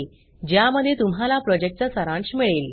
ज्यामध्ये तुम्हाला प्रॉजेक्टचा सारांश मिळेल